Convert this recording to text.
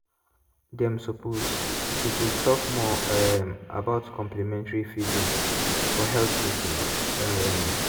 dem suppose suppose talk more um about complementary feeding for health meetings. um